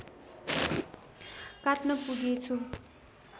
काट्न पुगेँछु